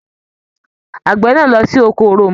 Àgbẹ̀ náà á lọ sí oko òroǹbó